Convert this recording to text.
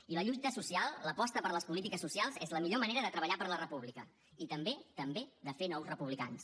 i la lluita social l’aposta per les polítiques socials és la millor manera de treballar per la república i també també de fer nous republicans